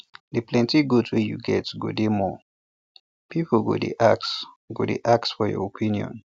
d plenti goat wey you get go dey more people go dey ask go dey ask for your opinion